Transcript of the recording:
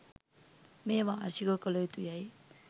මෙය වාර්ෂිකව කළ යුතු යැයි